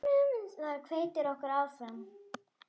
Það hvetur okkur áfram.